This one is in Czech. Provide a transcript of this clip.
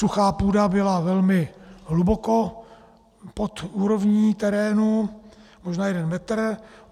Suchá půda byla velmi hluboko pod úrovní terénu, možná jeden metr.